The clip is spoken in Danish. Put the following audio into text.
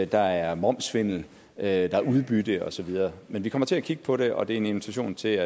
der er momssvindel der er udbytte og så videre men vi kommer til at kigge på det og det er en invitation til